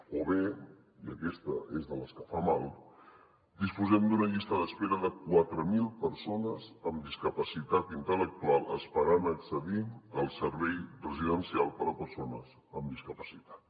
o bé i aquesta és de les que fa mal que disposem d’una llista d’espera de quatre mil persones amb discapacitat intel·lectual esperant accedir al servei residencial per a persones amb discapacitat